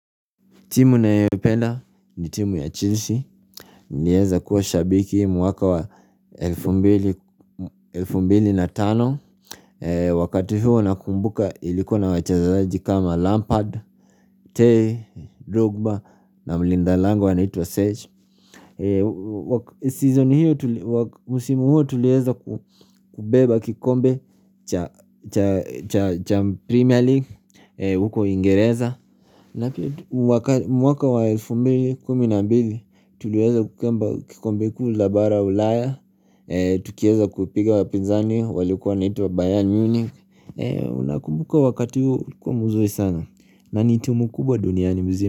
Timu nayoipenda ni timu ya Chelsea Nyeza kuwa shabiki mwaka wa elfu mbili na tano Wakati huo nakumbuka ilikuwa na wachezaji kama Lampard, Tay, Rugba na Mlindalango anaitwa Sage Season hiyo, msimu huo tulieza kubeba kikombe cha cha Premier League huko kiingereza mwaka wa 2012, tuliweza kukamba kikombe kuu la bara ulaya, tukieza kupiga wapinzani, walikuwa naitwa Bayern Munich Unakumbuka wakati huu, ukwa mzuri sana, na ni tumu kubwa duniani mzima.